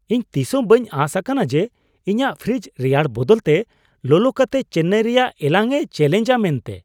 ᱤᱧ ᱛᱤᱥᱦᱚᱸ ᱵᱟᱹᱧ ᱟᱸᱥ ᱟᱠᱟᱱᱟ ᱡᱮ ᱤᱧᱟᱹᱜ ᱯᱷᱨᱤᱡᱽ ᱨᱮᱭᱟᱲ ᱵᱚᱫᱚᱞᱛᱮ ᱞᱚᱞᱚ ᱠᱟᱛᱮ ᱪᱮᱱᱱᱟᱭ ᱨᱮᱭᱟᱜ ᱮᱞᱟᱝ ᱮ ᱪᱮᱹᱞᱮᱧᱡᱽᱼᱟ ᱢᱮᱱᱛᱮ ᱾